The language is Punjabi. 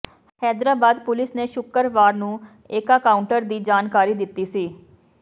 ਹੈਦਰਾਬਾਦ ਪੁਲਿਸ ਨੇ ਸ਼ੁੱਕਰਵਾਰ ਨੂੰ ਏਕਕਾਉਂਟਰ ਦੀ ਜਾਣਕਾਰੀ ਦਿੱਤੀ ਸੀ